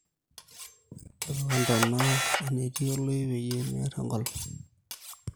tipika ntona enetii oloip peyie meer enkolong